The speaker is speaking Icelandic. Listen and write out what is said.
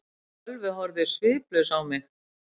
Sölvi horfði sviplaus á mig.